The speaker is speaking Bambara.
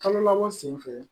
Kalo labɔ sen fɛ